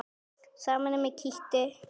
Sama er með kítti.